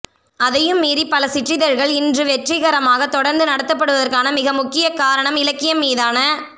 அதையும் மீறி பல சிற்றிதழ்கள் இன்று வெற்றிகரமாக தொடர்ந்து நடத்தப்படுவதற்கான மிக முக்கிய காரணம் இலக்கியம் மீதான